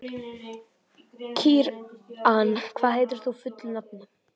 Kíran, hvað heitir þú fullu nafni?